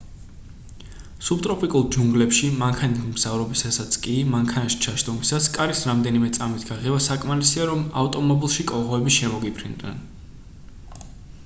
სუბტროპიკულ ჯუნგლებში მანქანით მგზავრობისასაც კი მანქანაში ჩაჯდომისას კარის რამდენიმე წამით გაღება საკმარისია რომ ავტომობილში კოღოები შემოგიფრინდნენ